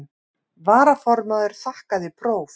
Varaformaður þakkaði próf.